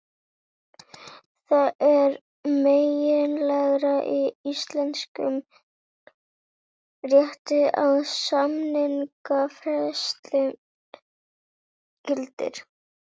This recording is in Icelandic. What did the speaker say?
Það er meginregla í íslenskum rétti að samningafrelsi gildir.